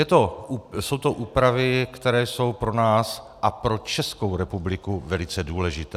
Jsou to úpravy, které jsou pro nás a pro Českou republiku velice důležité.